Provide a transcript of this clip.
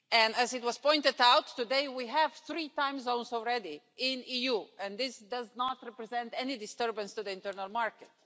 As it was pointed out today, we have three times already in the EU and this does not represent any disturbance to the internal market.